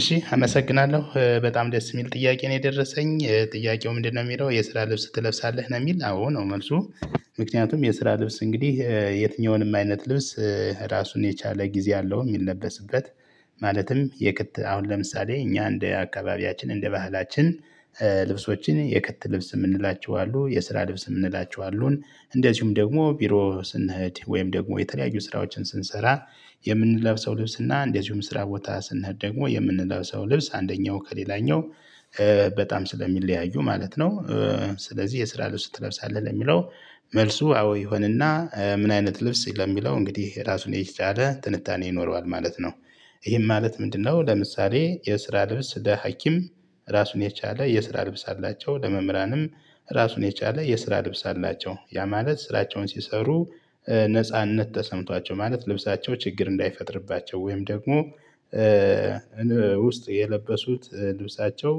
እሺ አመሰግናለሁ በጣም ደስ የሚል ጥያቄ ነው የደረሰኝ ጥያቄው ምንድነው? የሚለው የስራ ልብስ ትለብሳለህ ነው የሚል አዎ ነው መልሱ። ምክንያቱም የስራ ልብስ እንግዲህ የትኛውንም አይነት ልብስ ራሱን የቻለ ጊዜ አለው የሚለበስበት። ማለትም የቅጥ አሁን ለምሳሌ እኛ እንደ አካባቢያችን እንደ ባህላችን። ልብሶችን የከት ልብስ የምንላቸው አሉ የስራ ልብስ የምንላቸው አሉን እንደዚሁም ደግሞ ቢሮ ስንሄድ ወይም ደግሞ የተለያዩ ስራዎችን ስንሰራ። የምንለብሰው ልብስ እና እንደዚሁም ስራ ቦታ ስንሄድ ደግሞ የምንለብሰው ልብስ አንደኛው ከሌላኛው በጣም ስለሚለያዩ ማለት ነው። ስለዚህ የስራ ልብስ ትለብሳለህ ለሚለው መልሱ አዎ ይሆንና ምን አይነት ልብስ ለሚለው እንግዲህ ራሱን የቻለ ትንታኔ ይኖረዋል ማለት ነው። ይህም ማለት ምንድነው? ለምሳሌ የስራ ልብስ ለሀኪም ራሱን የቻለ የስራ ልብስ አላቸው ለመምህራንም ራሱን የቻለ የስራ ልብስ አላቸው ያ ማለት ስራቸውን ሲሰሩ። ነጻነት ተሰምቷቸው ማለት ልብሳቸው ችግር እንዳይፈጥርባቸው ወይም ደግሞ ውስጥ የለበሱት ልብሳቸው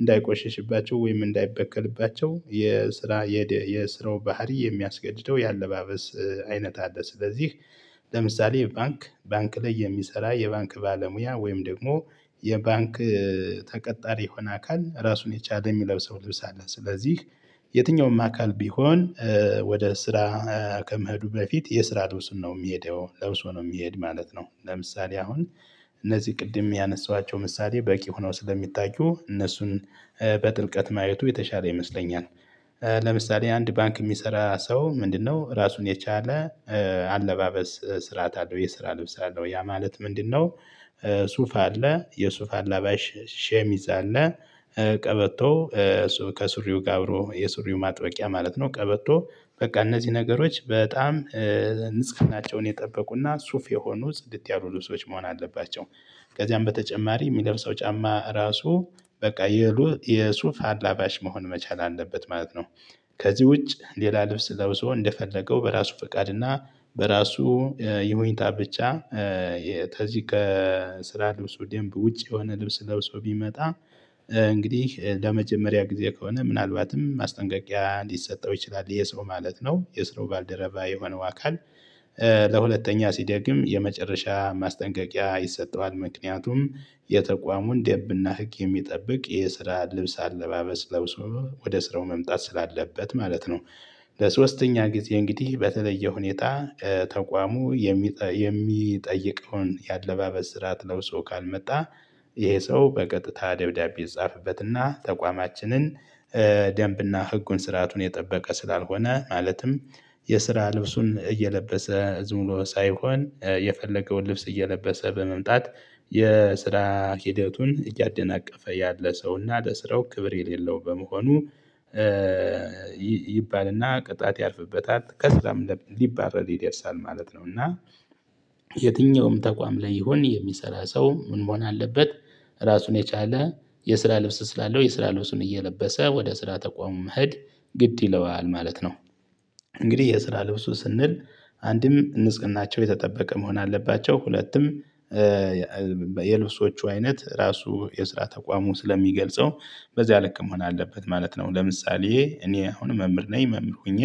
እንዳይቆሽሽባቸው ወይም እንዳይበቀልባቸው የስራ የስራው ባህሪ የሚያስገድደው የአለባበስ አይነት አለ። ስለዚህ ለምሳሌ ባንክ ባንክ ላይ የሚሰራ የባንክ ባለሙያ ወይም ደግሞ የባንክ ተቀጣሪ የሆነ አካል ራሱን የቻለ የሚለብሰው ልብስ አለ። ስለዚህ የትኛውም አካል ቢሆን። ወደ ስራ ከመሄዱ በፊት የስራ ልብሱን ነው የሚሄደው ለብሶ ነው የሚሄድ ማለት ነው። ለምሳሌ አሁን እነዚህ ቅድም ያነሳሃቸው ምሳሌ በቂ ሆነው ስለሚታዩ እነሱን በጥልቀት ማየቱ የተሻለ ይመስለኛል። ለምሳሌ አንድ ባንክ የሚሰራ ሰው ምንድነው? ራሱን የቻለ አለባበስ ስርዓት አለው የስራ ልብስ አለው ያ ማለት ምንድነው? ሱፋ አለ የሱፋ አላባሽ ሸሚዝ አለ። ቀበቶ ከሱሪው ጋር አብሮ የሱሪው ማጥበቂያ ማለት ነው። ቀበቶ በቃ እነዚህ ነገሮች በጣም ንጽህናቸውን የጠበቁና ሱፍ የሆኑ ጽድት ያሉ ልብሶች መሆን አለባቸው። ከዚያም በተጨማሪ የሚለብሰው ጫማ ራሱ በቃ የሩ የሱፍ አላባሽ መሆን መቻል አለበት ማለት ነው። ከዚህ ውጭ ሌላ ልብስ ለብሶ እንደፈለገው በራሱ ፈቃድ እና በራሱ የሁኔታ ብቻ የተዚህ ከስራ ልብሱ ደምብ ውጭ የሆነ ልብስ ለብሶ ቢመጣ። እንግዲህ ለመጀመሪያ ጊዜ ከሆነ ምናልባትም ማስጠንቀቂያ ሊሰጠው ይችላል ይሄ ሰው ማለት ነው የስራው ባልደረባ የሆነው አካል። ለሁለተኛ ሲደግም የመጨረሻ ማስጠንቀቂያ ይሰጠዋል ምክንያቱም የተቋሙን ደንብና ህግ የሚጠብቅ የስራ ልብስ አለባበስ ለብሶ ወደ ስራው መምጣት ስላለበት ማለት ነው። ለሶስተኛ ጊዜ እንግዲህ በተለየ ሁኔታ ተቋሙ የሚጠይቀውን የአለባበስ ስርዓት ለብሶ ካልመጣ። ይሄ ሰው በቀጥታ ደብዳቤ ይፃፈበትና ተቋማችንን ደንብና ህጉን ስርዓቱን የጠበቀ ስላልሆነ ማለትም የስራ ልብሱን እየለበሰ ዝም ብሎ ሳይሆን የፈለገውን ልብስ እየለበሰ በመምጣት የስራ ሂደቱን እያደናቀፈ ያለ ሰውና ለስራው ክብር የሌለው በመሆኑ። ይባልና ቅጣት ያርፍበታል ከስራም ሊባረር ይደርሳል ማለት ነው። እና የትኛውም ተቋም ላይ ይሁን የሚሰራ ሰው ምን መሆን አለበት? ራሱን የቻለ የስራ ልብስ ስላለው የስራ ልብሱን እየለበሰ ወደ ስራ ተቋሙ መሄድ ግድ ይለዋል ማለት ነው። እንግዲህ የስራ ልብሱ ስንል አንድም ንጽህናቸው የተጠበቀ መሆን አለባቸው ሁለቱም የልብሶቹ አይነት ራሱ የስራ ተቋሙ ስለሚገልጸው በዚያ ልክ መሆን አለበት ማለት ነው። ለምሳሌ እኔ አሁን መምህር ነኝ መምህር ሆኜ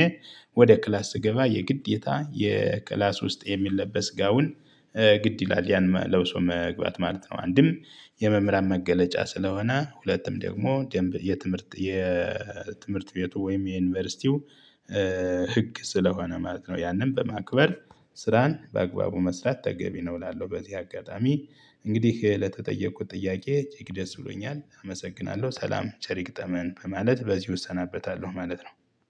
ወደ ክላስ ስገባ የግዴታ የክላስ ውስጥ የሚለበስ ጋውን ግድ ይላል ያን ለብሶ መግባት ማለት ነው። አንድም የመምህራን መገለጫ ስለሆነ ሁለትም ደግሞ ደንብ የትምህርት የትምህርት ቤቱ ወይም የዩኒቨርሲቲው ህግ ስለሆነ ማለት ነው። ያንን በማክበር ስራን በአግባቡ መስራት ተገቢ ነው እላለሁ። በዚህ አጋጣሚ እንግዲህ ለተጠየቁክት ጥያቄ እጅግ ደስ ብሎኛል አመሰግናለሁ ሰላም ቸር ይግጠመን በማለት በዚሁ እሰናበታለሁ ማለት ነው